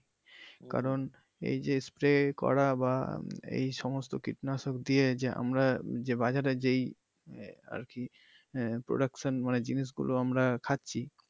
কারন এই যে spray করা বা এই সমস্ত কীটনাশক দিয়ে যে আমরা যে বাজারে যেই আহ আরকি আহ production মানে জিনিসগুলো আমরা খাচ্ছি।